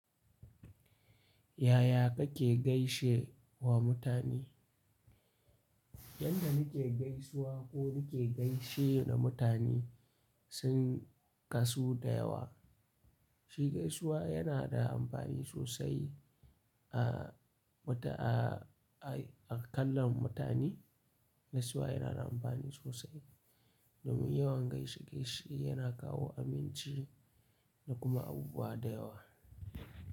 Yaya kake gaishe wa mutane? Yadda muke gaisuwa ko muke gaishe da mutane sun kasu da yawa. Shi gaisuwa yana da amfani sosai a mata a, a, a kallon mutane. Gaisuwa yana da amfani sosai, domin yawan gaishe-gaishe yana kawo aminci da kuma abubuwa da yawa.